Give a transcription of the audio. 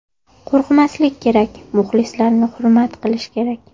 Qo‘rqmaslik kerak, muxlislarni hurmat qilish kerak.